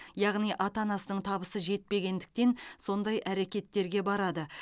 яғни ата анасының табысы жетпегендіктен сондай әрекеттерге барады